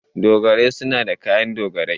Dogarai suna da kayan dogarai.